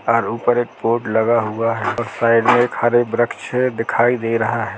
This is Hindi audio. और ऊपर एक बोर्ड लगा हुआ है और साइड मे एक हरे वृक्ष दिखाई दे रहा है।